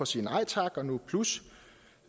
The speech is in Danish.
sige nej tak og nu